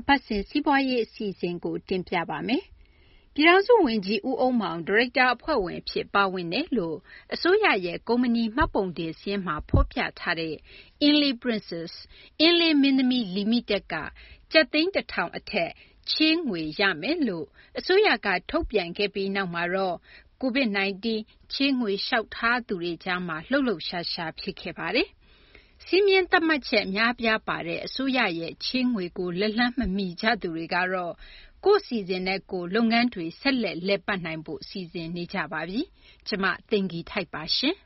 အပတ်စဉ် စီးပွားရေး အစီအစဉ်ကို တင်ပြပါမယ်။ ပြည်ထောင်စု ဝန်ကြီး ဦးအုန်းမောင် ဒါရိုက်တာ အဖွဲ့ဝင် အဖြစ် ပါဝင်တယ်လို့ အစိုးရရဲ့ ကုမ္ပဏီ မှတ်ပုံတင် စာရင်းမှာ ဖော်ပြထားတဲ့ Inle Princess - အင်းလေး မင်းသမီး လီမိတက် က ကျပ်သိန်း ၁၀၀၀ အထက် ငွေချေးခွင့် ရမယ်လို့လည်း အစိုးရက ထုတ်ပြန်ခဲ့ပြီးနောက်မှာ ချေးငွေ လျှောက်ထားသူတွေကြား လှုပ်လှုပ်ရှားရှား ဖြစ်ခဲ့ပါတယ်။ စည်းမျဉ်း သတ်မှတ်ချက် အများအပြားပါတဲ့ အစိုးရရဲ့ COVID ချေးငွေကို လက်လှမ်းမမီကြသူတွေကတော့ ကိုယ့်အစီအစဉ်နဲ့ကိုယ် လုပ်ငန်းဆက်လက် လည်ပတ်နိုင်ရေး စီစဉ်နေကြပါတယ်။ နားဆင်ကြရအောင်ပါ။ ကျမ သိင်္ဂ ီထိုက်ပါ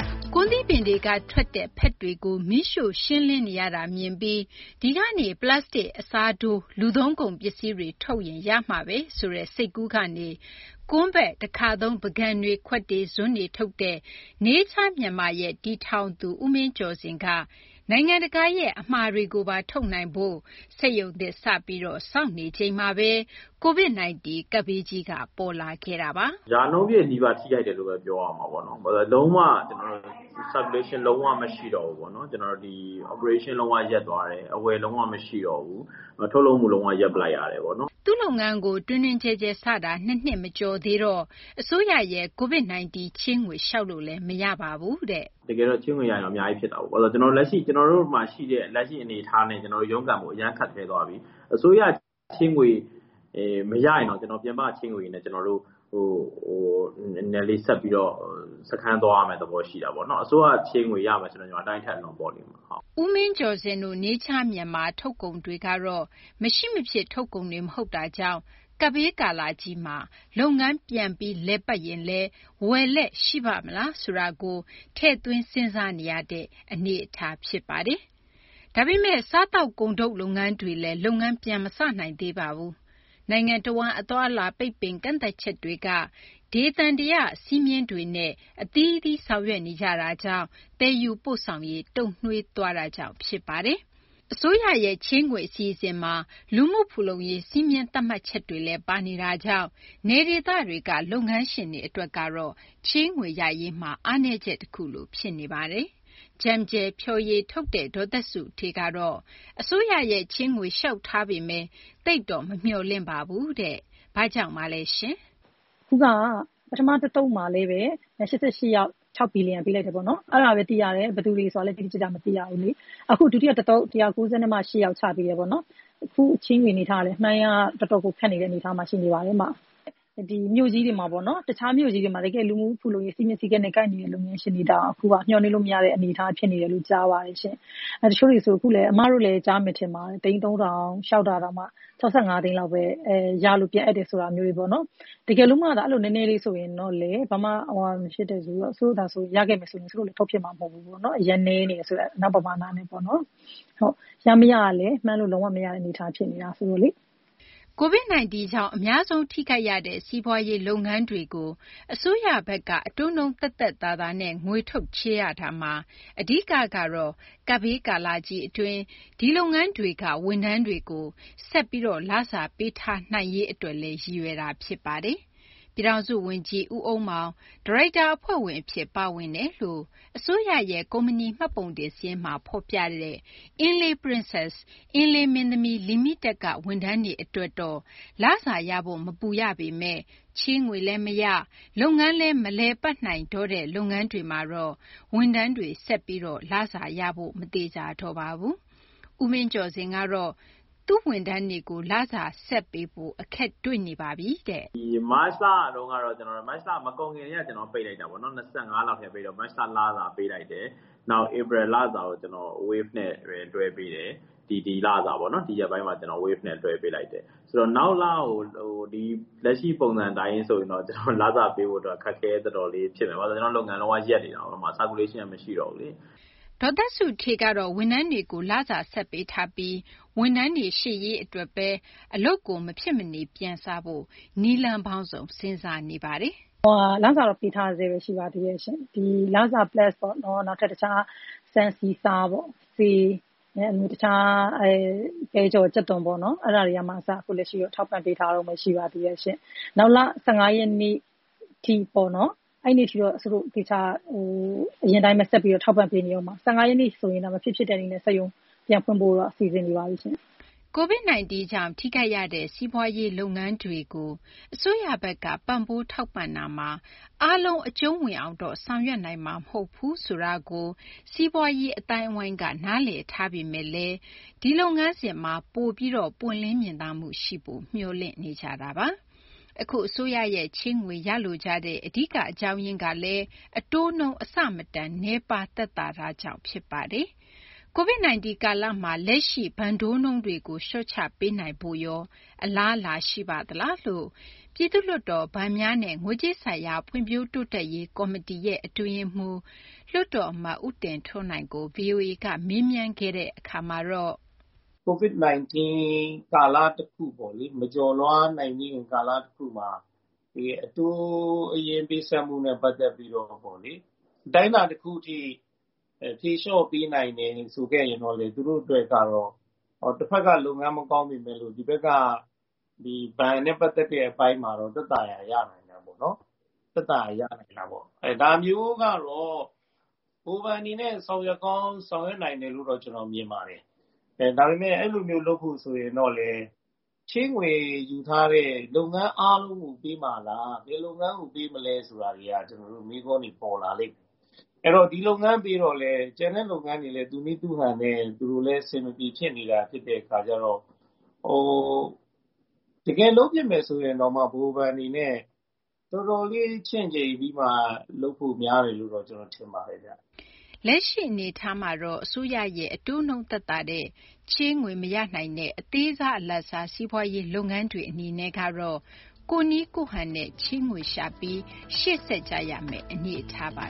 ။ ကွမ်းသီးပင်တွေက ထွက်တဲ့ ဖက်တွေကို မီးရှိုှု့ ရှင်းလင်းနေရတာကို မြင်ပြီး ဒီကနေ ပလတ်စတစ် အစားထိုး လူသုံးကုန် ပစ္စည်းတွေ ထုတ်ရင် ရမှာဘဲဆိုတဲ့ စိတ်ကူးကနေ ကွမ်းဖက် တခါသုံး ပန်ကန်တွေ ခွက်တွေ ဇွန်းတွေ ထုတ်တဲ့ Nature Myanmar ရဲ့ တည်ထောင်သူ ဦးမင်းကျော်ဇင် က နိုင်ငံတကာရဲ့ အမှာတွေကိုပါ ထုတ်နိုင်ဖို့ စက်ရုံသစ် စပြီး ဆောက်နေချိန်မှာဘဲ COVID -19 ကပ်ဘေးကြီးက ပေါ်လာတာပါ။ " ရာနှုန်းပြည့်နီးပါး ထိခိုက်တယ်လို့ဘဲ ပြောရမှာပေါ့နော်။ ဘာလို့လဲ ဆိုတော့ လုံး၀ လုပ်ငန်းလည်ပတ်မှု လုံး၀ မရှိတော့ဘူးပေါ့နော်။ လည်ပတ်မှုလည်း လုံး၀ ရပ်သွားတယ်။ အဝယ်လုံး၀ မရှိတော့ဘူး။ ထုတ်လုပ်မှု လုံး၀ ရပ်လိုက်ရတယ်ပေါ့နော်။ " သူ့လုပ်ငန်းကို တွင်တွင်ကျယ်ကျယ် စတာ ၂ နှစ် မကျော်သေးတော့ အစိုးရရဲ့ COVID 19 ချေးငွေလျှောက်လို့ မရပါဘူးတဲ့။ " တကယ်တော့ ချေးငွေ ရရင်တော့ အများကြီး ဖြစ်တာပေါ့။ လက်ရှိ ကျနော်တို့မှာ ရှိနေတဲ့ လက်ရှိ အနေအထားနဲ့ ကျနော်တို့ ရုန်းကန်ဖို့ အရမ်းခက်ခဲသွားပြီ။ အစိုးရ ချေးငွေ မရရင်တောင် ကျနော်တို့ ပြင်ပက ချေးငွေတွေနဲ့ ကျနော်တို့ နည်းနည်းလေး ဆက်ပြီးတော့ စခန်းသွားရမယ့် သဘော ရှိတာပေါ့နော်။ " ကိုမင်းကျော်ဇင်တို့ Nature Myanmar ထုတ်ကုန်တွေကတော့ မရှိမဖြစ် ထုတ်ကုန်တွေ မဟုတ်တာကြောင့် ကပ်ဘေးကာလကြီးမှာ လုပ်ငန်း ပြန်လည် လည်ပတ်ရင်လည်း ဝယ်လက် ရှိပါ့မလားဆိုတာကို ထည့်သွင်း စဉ်းစားနေရတဲ့ အချက်လည်း ပါပါတယ်။ ဒါပေမယ့် စားသောက်ကုန်ထုတ် လုပ်ငန်းတွေလည်း လုပ်ငန်းမစနိုင်သေးပါဘူး။ နိုင်ငံတဝန်း အသွားအလာ ပိတ်ပင် ကန့်သတ်ချက်တွေက ဒေသန္တရ စည်းမျဉ်းတွေနဲ့ အသီးသီး ဆောင်ရွက်နေကြတာကြောင့် သယ်ယူပို့ဆောင်ရေး တုံ့နှေးသွားတာကြောင့်ပါ။ အစိုးရရဲ့ ချေးငွေ အစီအစဉ်မှာ လူမှုဖူလုံရေး စည်းမျဉ်းသတ်မှတ်ချက်လည်း ပါတာကြောင့် နယ်ဒေသတွေက လုပ်ငန်းတွေ အတွက်ကတော့ အားနည်းချက် တခုလို ဖြစ်နေပါတယ်။ ဲJumjel ဖျော်ရည်ထုတ်တဲ့ ဒေါ်သက်စုဌေးကတော့ အစိုးရရဲ့ ချေးငွေ လျှောက်ထားပေမယ့် သိပ်တော့ မမျှော်လင့်ပါဘူးတဲ့။ ဘာကြောင့်ပါလဲရှင်။ " ပထမ တသုတ်မှာလည်းဘဲ ၈၈ ယောက် ၆ ဘီလီယံ ပေးလိုက်တယ်ပေါ့နော်။ အဲဒါဘဲ သိရတယ် ဘယ်သူတွေ ဆိုတာလည်း တိတိကျကျ မသိရဘူးလေ။ အခု ဒုတိယ အသုတ် ၁၉၈ ယောက် ချပေးတယ်။ အခု ချေးငွေ အနေအထားကလည်း တော်တော်ကို မှန်းရ ခက်နေတဲ့ အနေအထားမှာ ရှိနေပါတယ်။ တခြားမြို့ကြီးတွေမှာ တကယ့် လူမှုဖူလုံးရေး စည်းမျဉ်း စည်းကမ်းနဲ့ ကိုက်ညီတဲ့ လုပ်ငန်းရှင်တွေတောင် အခုဟာ မျှော်မှန်းလို့ မရတဲ့ အနေအထားဖြစ်နေတယ်လို့ ကြားပါတယ်။ တချိုကတွေဆို အခုလည်း အမတို့လည်း ကြားမယ် ထင်ပါတယ် သိန်း ၃ ထောင် လျှောက်တာတောင် ၆၅ သိန်းလောက်ဘဲ ရလို့ ပြန်အပ်တယ် ဆိုတာမျိုးတွေပေါ့နော်။ တကယ်လို့မှသာ အဲလို နည်းနည်းလေး ဆိုရင်တော့လည်း ဘာမှ မဖြစ်မယ့် အတူတူ ရခဲ့ရင်လည်း စုတို့လည်း ထုတ်ဖြစ်မယ် မထင်ဘူး။ ဘာမှ လုပ်လို့ မရတဲ့ ပမာဏနဲ့ ဆိုရင်ပေါ့နော်။ ရ မရ ကလည်း မှန်းလို့ မရတဲ့ အနေအထား ဖြစ်နေတာ ဆိုတော့လေ။ " COVID 19 ကြောင့် အများဆုံး ထိခိုက်ရတဲ့ စီးပွားရေး လုပ်ငန်းတွေကို အစိုးရဘက်က အတိုးနှုန်း သက်သက်သာသာနဲ့ ငွေထုတ် ချေးရတာမှာ အဓိကကတော့ ကပ်ဘေး ကာလကြီး အတွင်း ဒီလုပ်ငန်းတွေမှာ ဝန်ထမ်းတွေကို ဆက်ပြီး လစာပေးထားနိုင်ရေး အတွက်လည်း ရည်ရွယ်တာ ဖြစ်ပါတယ်။ ပြည်ထောင်စု ဝန်ကြီး ဦးအုန်းမောင် ဒါရိုက်တာ အဖွဲ့ဝင် အဖြစ် ပါဝင်တယ်လို့ အစိုးရရဲ့ ကုမ္ပဏီ မှတ်ပုံတင် စာရင်းမှာ ဖော်ပြထားတဲ့ Inle Princess - အင်းလေး မင်းသမီး လီမိတက်က ဝန်ထမ်းတွေ အတွက်တော့ လစာရဖို့ မပူရပေမယ့် ချေးငွေလည်း မရ လုပ်ငန်းလည်း မလည်ပတ်နိုင်တော့တဲ့ လုပ်ငန်းတွေမှာတော့ ဝန်ထမ်းတွေကို ဆက်ပြီး လစာပေးနိုင်ရေး မသေချာတော့ပါဘူး။ ဦးမင်းကျော်ဇင်ကတော့ လစာ ဆက်ပေးဖို့ အခက်တွေ့နေပါပြီ။ " မတ်လ မကုန်ခင် ကတည်းက ကျနော်တို့ ပိတ်လိုက်တာပေါ့နော်။ ၂၅ လောက် ကတည်းက ပိတ်တော့ မတ်လ လစာ ပေးလိုက်တယ်။ နောက် ဧပြီ လစာကို ကျနော် Wave နဲ့ဘဲ လွှဲပေးတယ်။ ဒီလစာပေါ့နော် ဒီရက်ပိုင်း အတွင်းမှာဘဲ ကျနော် Wave နဲ့ လွှဲပေးတယ်။ ဆိုတော့ နောက်လကို လက်ရှိ ပုံစံ အတိုင်းဆိုရင်တော့ လစာပေးဖို့ အတွက် တော်တော်လေး အခက်အခဲ ဖြစ်နေပြီ။ ဘာဖြစ်လို့လဲ ဆိုတော့ ကျနော့် လုပ်ငန်းက လုံး၀ ရပ်နေပြီ။ " ဒေါ်သက်စုဌေးကတော့ ဝန်ထမ်းတွေကို လစာဆက်ပေးထားပြီး ဝန်ထမ်းတွေ ရှေ့ရေး အတွက် အလုပ်တွေ မဖြစ်မနေ ပြန်စဖို့ နည်းလမ်းပေါင်းစုံ စဉ်းစားနေပါတယ်။ " လစာတော့ ပေးထားဆဲဘဲ ရှိပါသေးတယ်။ လစာ အပြင် တခြား ဆန်၊ ဆီ၊ ဆား၊ ဆေး၊ တခြား ပဲကြော် ကြက်သွန်ပေါ့နော် အဲဒါတွေက အစ လက်ရှိတော့ ထောက်ပံ့ ပေးထားတုန်းဘဲ ရှိပါသေးတယ်ရှင့်။ မေလ ၁၅ ရက်နေ့ ထိပေါ့နော်။ အဲဒီ အထိတော့ အရင်အတိုင်းဘဲ ဆက်ပြီး ထောက်ပံ့ထားမှာပါ။ ၁၅ ရက်နေ့မှာတော့ မဖြစ် ဖြစ်တဲ့ နည်းနဲ့ စက်ရုံ ပြန်ဖွင့်ပေးဖို့ စီစဉ်နေပါပြီရှင့်။ " COVID 19 ကြောင့် ထိခိုက်ရတဲ့ စီးပွားရေး လုပ်ငန်းတွေ အပေါ် အစိုးရဘက်က ပံ့ပိုး ထောက်ပံ့တာမှာ စီးပွားရေး လုပ်ငန်းတိုင်းတော့ အကြုံးဝင်အောင် ဆောင်ရွက်နိုင်မှာ မဟုတ်ဘူးဆိုတာကို စီးပွားရေး လုပ်ငန်း အသိုင်းအဝိုင်း နားလည်ထားပေမယ့် ချေးငွေ လုပ်ငန်းစဉ်မှာ ပွင့်လင်းမြင်သာမှု ပိုပြီး ရှိဖို့တော့ မျှော်လင့်ကြပါတယ်။ အခု အစိုးရရဲ့ ချေးငွေ ရလိုကြတဲ့ အဓိက အကြောင်းရင်းကလည်း အတိုးနှုန်း အဆမတန် နည်းပါး သက်သာတာကြောင့် ဖြစ်ပါတယ်။ COVID 19 ကာလမှာ လက်ရှိ ဘဏ်တိုးနှုန်းတွေကို လျှော့ချပေးနိုင်ဖို့ရော အလားအလာ ရှိပါလားလို့ ပြည်သူ့လွှတ်တော် ဘဏ်များနဲ့ ငွေကြေးဆိုင်ရာ ဖွံ့ဖြိုးတိုးတက်ရေး ကော်မတီ အတွင်းရေးမှူး လွှတ်တော် အမတ် ဦးတင်ထွန်းနိုင်ကို ဗွီအိုအေက မေးမြန်းခဲ့တာမှာတော့ " COVID -19 ကာလ တခုပေါ့လေ မကျော်လွှားနိုင်ခင် ကာလ တခုမှာ အတိုးအရင် ပေးဆပ်မှုနဲ့ ပတ်သက်ပြီးတော့ အတိုင်းအတာ တခုအထိ ဖြေလျှော့ပေးနိုင်တယ် ဆိုခဲ့ရင်တော့လည်း တဖက်က လုပ်ငန်း မကောင်းပေမယ်လို့ ဒီဘက်က ဘဏ်နဲ့ ပတ်သက်တဲ့ အပိုင်းမှာတော့ သက်သာရာ ရတာပေါ့နော်။ ဒါမျိုးကတော့ ဗဟိုဘဏ် အနေနဲ့ ဆောင်ရွက်ကောင်း ဆောင်ရွက် နိုင်တယ်လို့တော့ ကျနော် ထင်ပါတယ်။ " " ဒါပေမယ့် အဲလိုမျိုး လုပ်ဖို့ ဆိုရင်တော့လည်း ချေးငွေ ယူထားတဲ့ လုပ်ငန်း အားလုံးကို ပေးမှာလား။ ဘယ်လုပ်ငန်းကို ပေးမလဲ ဆိုတာတွေက ကျနော်တို့ မေးခွန်းတွေ ပေါ်လာလိမ့်မယ်။ အဲတော့ ဒီလုပ်ငန်း ပေးတော့လည်း ကျန်တဲ့ လုပ်ငန်းတွေလည်း သူ့နည်းသူ့ဟန်နဲ့ အဆင်မပြေ ဖြစ်နေကြတဲ့ အခါကျတော့ တကယ် လုပ်ဖြစ်မယ် ဆိုရင်တောင်မှ ဗဟိုဘဏ် အနေနဲ့ တော်တော်လေး ချင့်ချိန်ပြီးမှ လုပ်ဖို့ များတယ်လို့ ဘဲ ကျနော် ထင်ပါတယ်ဗျ။ " လက်ရှိ အနေအထားမှာတော့ အစိုးရရဲ့ အတိုးနှုန်း သက်သာတဲ့ ချေးငွေ မရနိုင်တဲ့ အသေးစား အလတ်စား စီးပွားရေး လုပ်ငန်းတွေ အနေနဲ့ကတော့ ကိုယ့်နည်းကိုယ့်ဟန်နဲ့ ချေးငွေရှာပြီး ရှေ့ဆက်ကြရမယ့် အနေအထားပါ